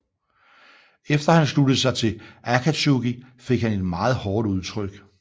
Efter han sluttede sig til Akatsuki fik han et meget hårdt udtryk